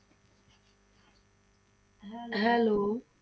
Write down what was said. Hello